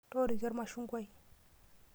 Tooroke ormashungwai .